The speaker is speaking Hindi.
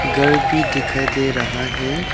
घर भी दिखाई दे रहा है।